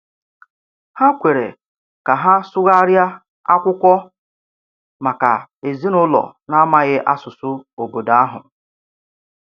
Ha kwere ka ha sụgharịa akwụkwọ maka ezinụlọ na-amaghị asụsụ obodo ahụ.